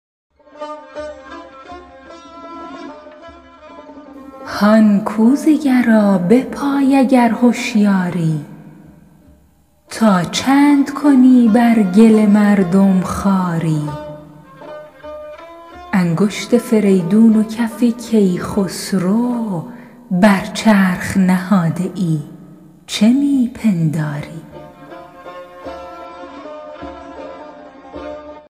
هان کوزه گرا بپای اگر هشیاری تا چند کنی بر گل مردم خواری انگشت فریدون و کف کی خسرو بر چرخ نهاده ای چه می پنداری